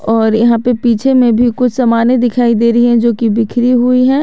और यहां पे पीछे में भी कुछ समाने दिखाई दे रही है जोकि बिखरी हुई है।